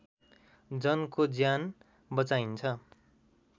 जनको ज्यान बचाइन्छ